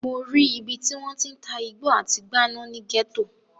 Mo rí ibi tí wọ́n ti ń ta igbó àti gbáná ní gẹ́tò.